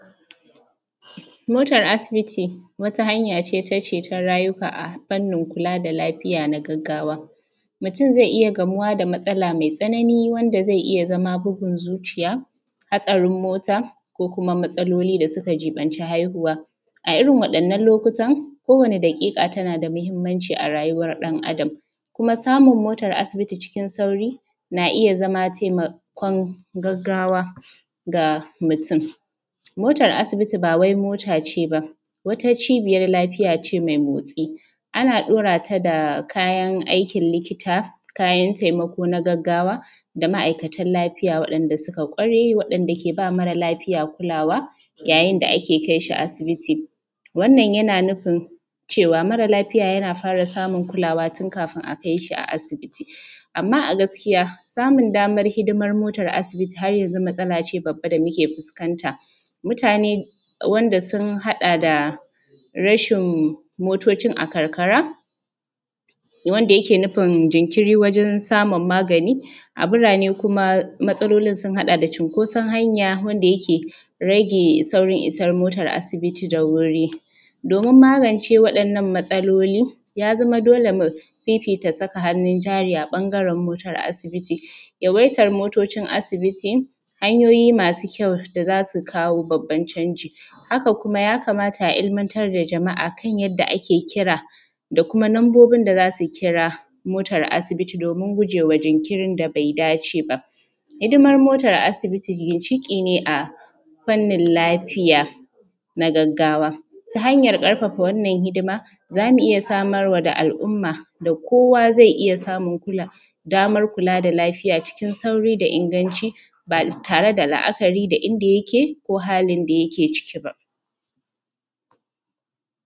motar asibiti wata hanya ce ta ceton rayuka a fannin kula da lafiya na gaggawa mutum zai iya gamuwa da matsala mai tsanani wanda zai iya zama bugun zuciya hatsarin mota ko kuma matsaloli da suka jiɓanci haihuwa a irin wadannan lokutan kowane daƙika ta na da muhimmanci a rayuwan ɗan adam samun motar asibiti cikin sauri na iya zama taimakon gaggawa ga mutum motar asibiti ba wai mota ce ba wata cibiyar lafiya ce mai motsi ana ɗaura ta da kayan aikin likita kayan taimako na gaggawa da ma’aikatan lafiya waɗanda suka kware waɗanda ke ba mara lafiya kulawa yayin da ake kai shi asibiti wannan yana nufin cewa mara lafiya yana fara samun kulawa tun kafin a kai shi asibiti amma a gaskiya samun damar hidimar motar asibiti har yanzu matsala ce babba da muke fuskanta mutane wanda sun haɗa da rashin motocin a karkara wanda yake nufin jinkiri wajen samun magani a birnane kuma matsalolin sun haɗa da cunkoson hanya wadda yake rage saurin isar motar asibiti da wuri domin magance waɗannan matsalolin ya zama dole mu fifita saka hannun jari ɓangaren motar asibiti yawaitar motocin asibiti hanyoyi masu kyau da za su kawo babbar canji haka kuma ya kamata a ilmantar da jama'a kan yadda ake kira da kuma lambobin da za su kira motar asibiti domin guje ma jinkirin da bai dace ba hidimar motar asibiti ginshiƙi ne a fannin lafiya na gaggawa ta hanyan karfafa wannan hidima za mu iya samar wa da al’umma da kowa zai iya samun damar kula da lafiya cikin sauri da ingancin ba tare da la’akari da inda yake ko halin da yake ciki ba